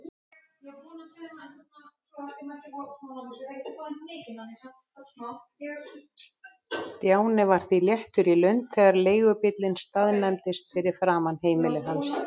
Stjáni var því léttur í lund þegar leigubíllinn staðnæmdist fyrir framan heimili hans.